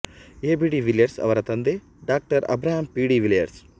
AB de Villiers ಅವರ ತಂದೆ ಡಾ ಅಬ್ರಹಮ್ ಪಿ ಡಿ ವಿಲಿಯರ್ಸ್